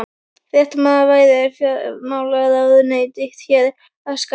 Fréttamaður: Væri fjármálaráðuneytið þér að skapi?